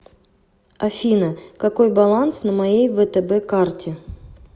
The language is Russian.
афина какой баланс на моей втб карте